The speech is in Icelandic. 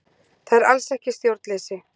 Það er alls ekki stjórnleysi